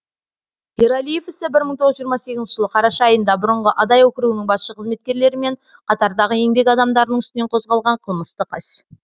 ералиев ісі бір мың тоғыз жүз жиырма сегізінші жылы қараша айында бұрынғы адай округінің басшы қызметкерлері мен қатардағы еңбек адамдарының үстінен қозғалған қылмыстық іс